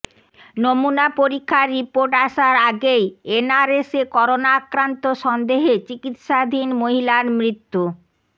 নমুনা পরীক্ষার রিপোর্ট আসার আগেই এনআরএসে করোনা আক্রান্ত সন্দেহে চিকিৎসাধীন মহিলার মৃত্যু